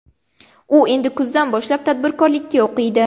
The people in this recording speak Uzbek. U endi kuzdan boshlab tadbirkorlikka o‘qiydi.